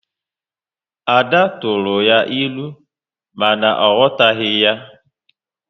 Ada tụrụ ya ịlụ, mana ọ aghọtaghị ya